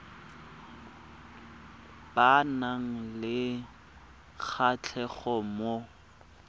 ba nang le kgatlhego mo